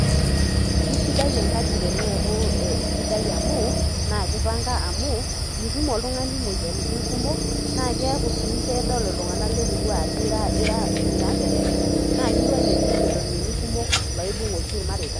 Kesidai enkaji teneeku sidai amu, naa kipanga amu, mitum oltung'ani moyiaritin kumok, na keeku si kedol iltung'anak lemurua ajo ira, mira kerere, naa kiwang'ie si loiterioni kumok, loibung' oshi irmareita.